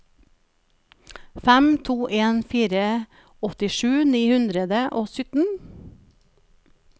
fem to en fire åttisju ni hundre og syttien